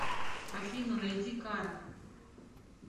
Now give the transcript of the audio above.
афина найди капа